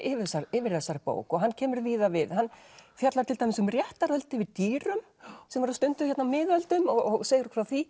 yfir þessari yfir þessari bók og hann kemur víða við hann fjallar til dæmis um réttarhöld yfir dýrum sem voru stunduð á miðöldum og segir frá því